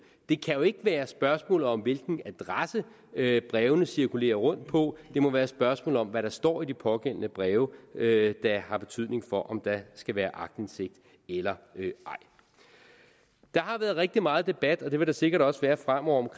det kan jo ikke være spørgsmålet om hvilken adresse brevene cirkulerer rundt på det må være et spørgsmål om hvad der står i de pågældende breve der har betydning for om der skal være aktindsigt eller ej der har været rigtig meget debat og det vil der sikkert også være fremover om